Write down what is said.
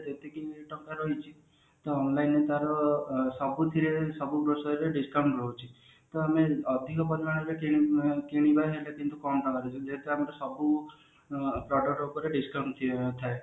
ଏତିକି ଟଙ୍କା ରହିଛି online ତାର ସବୁଥିରେ ସବୁ grocery ରେ discount ରହୁଛି ତ ଆମେ ଅଧିକ ପରିମାଣରେ କିଣି କିଣିବା ସେଇଟା କିନ୍ତୁ କମ ଲାଗୁଛି ଯେହେତୁ ଆମକୁ ସବୁ product ଉପରେ discount ଥାଏ